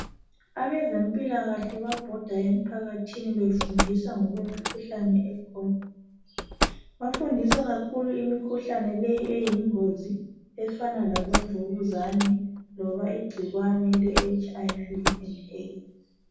Abezempilakahle babhoda emphakathini befundisa ngokwemikhuhlane ekhona. Bafundisa kakhulu imikuhlane leyi eyingozi efana labo mvukuzane loba igcikwane le HIV and AIDS.